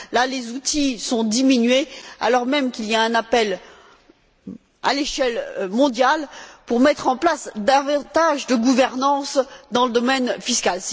Là, les outils sont diminués alors même qu'il y a un appel à l'échelle mondiale pour mettre en place davantage de gouvernance dans le domaine fiscal.